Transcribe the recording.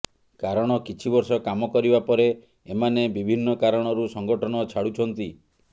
କାରଣ କିଛିବର୍ଷ କାମ କରିବା ପରେ ଏମାନେ ବିଭିନ୍ନ କାରଣରୁ ସଙ୍ଗଠନ ଛାଡୁଛନ୍ତି